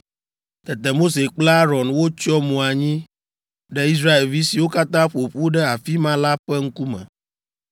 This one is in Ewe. Tete Mose kple Aron wotsyɔ mo anyi ɖe Israelvi siwo katã ƒo ƒu ɖe afi ma la ƒe ŋkume.